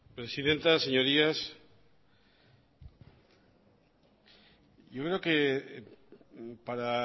presidenta señorías yo creo que para